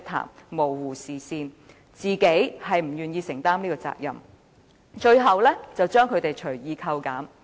僱主模糊視線，根本不願承擔責任，更將金額隨意扣減。